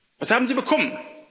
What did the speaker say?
Was haben sie bekommen?